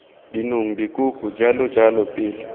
dinong dikoko jalo jalo pele